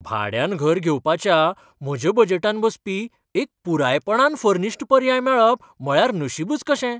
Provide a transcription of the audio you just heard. भाड्यान घर घेवपाच्या म्हज्या बजेटांत बसपी एक पुरायपणान फर्नीश्ड पर्याय मेळप म्हळ्यार नशिबच कशें!